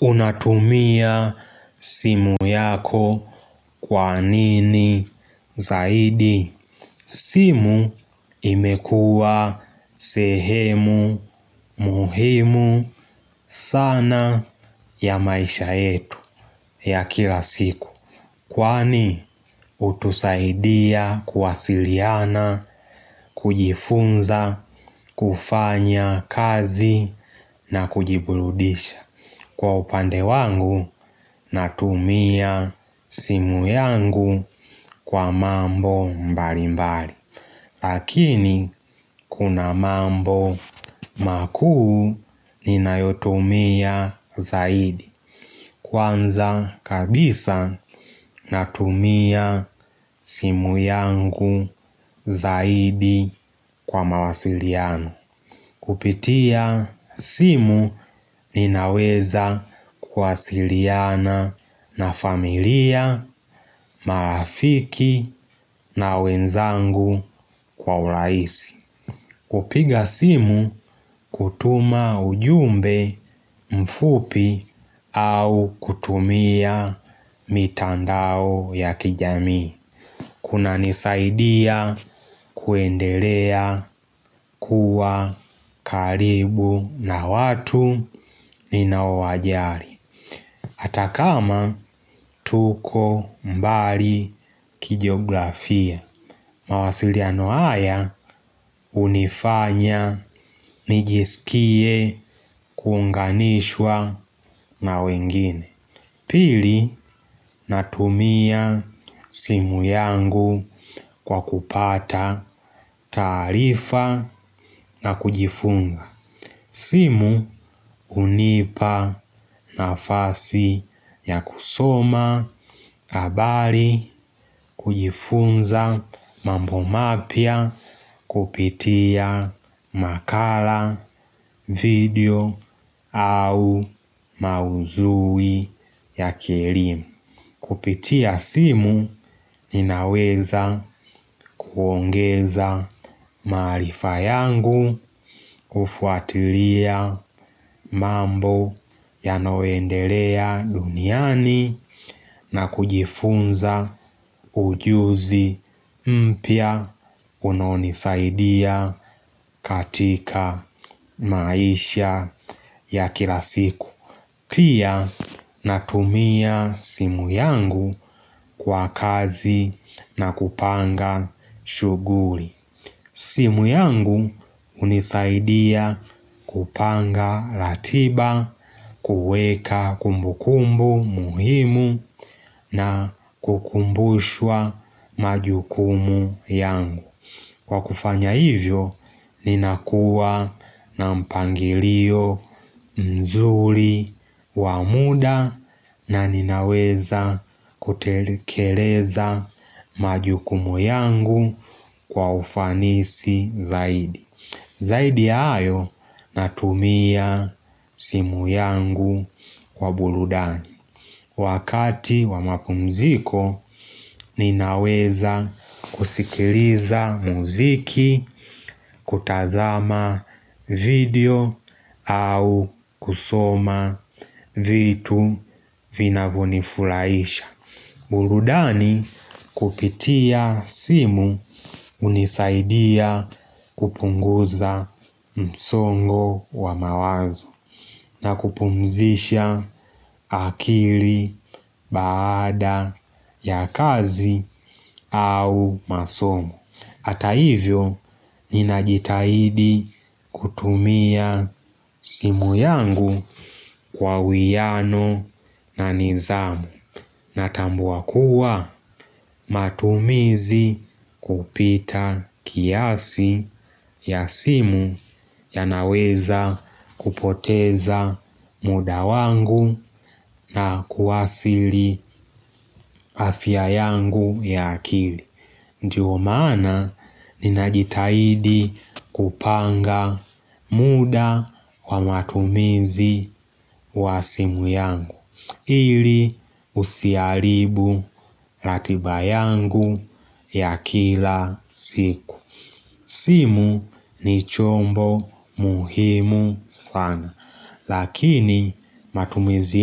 Unatumia simu yako kwa nini zaidi? Simu, imekuwa sehemu muhimu sana ya maisha yetu ya kila siku. Kwani hutusaidia kuwasiliana, kujifunza, kufanya kazi na kujiburudisha. Kwa upande wangu natumia simu yangu kwa mambo mbali mbali. Lakini kuna mambo makuu ninayotumia zaidi. Kwanza kabisa natumia simu yangu zaidi kwa mawasiliano. Kupitia simu ninaweza kuwasiliana na familia, marafiki na wenzangu kwa urahisi. Kupiga simu, kutuma ujumbe mfupi au kutumia mitandao ya kijamii. Kunanisaidia kuendelea kuwa karibu na watu ninaowajali hata kama tuko mbali kijografia. Mawasiliano haya hunifanya nijisikie kuunganishwa na wengine. Pili, natumia simu yangu kwa kupata taarifa na kujifunza. Simu hunipa nafasi ya kusoma habari, kujifunza mambo mapya kupitia makala video au maudhui ya kielimu. Kupitia simu ninaweza kuongeza maarifa yangu, kufuatilia mambo yanayoendelea duniani na kujifunza ujuzi mpya unaonisaidia katika maisha ya kila siku. Pia, natumia simu yangu kwa kazi na kupanga shughuli. Simu yangu hunisaidia kupanga ratiba, kuweka kumbukumbu muhimu na kukumbushwa majukumu yangu. Kwa kufanya hivyo, ninakuwa na mpangilio mzuri wa muda na ninaweza kutekeleza majukumu yangu kwa ufanisi zaidi. Zaidi hayo, natumia simu yangu kwa burudani. Wakati wa mapumziko, ninaweza kusikiliza muziki, kutazama video au kusoma vitu vinavyonifurahisha. Burudani kupitia simu hunisaidia kupunguza msongo wa mawazo na kupumzisha akili baada ya kazi au masomo. Hata ivyo, ninajitahidi kutumia simu yangu kwa uwiano na nidhamu. Natambua kuwa matumizi kupita kiasi ya simu yanaweza kupoteza muda wangu na kuathisili afya yangu ya akili. Ndiyo maana ninajitahidi kupanga muda wa matumizi wa simu yangu. Ili usiharibu ratiba yangu ya kila siku. Simu ni chombo muhimu sana. Lakini matumizi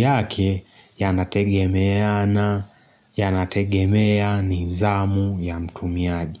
yake yanategemeana, yanategemea nidhamu ya mtumiaji.